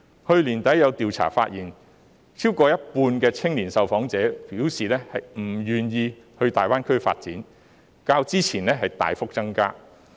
去年年底，有調查發現，超過一半的青年受訪者表示不願意到大灣區發展，比例較之前大幅增加。